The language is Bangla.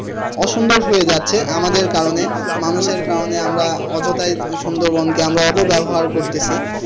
অসুন্দর হয়ে যাচ্ছে আমাদের কারনে মানুষের কারণে আমরা অযথাই সুন্দরবনকে আমরা অপব্যবহার করতেসি।